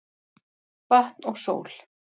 Vatn og sól